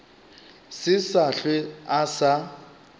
se sa hlwe a sa